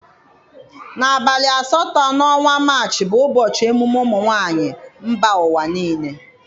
Na abalị asatọ na ọnwa Maachị bụ ụbọchị emume ụmụnwaanyị mba ụwa niile.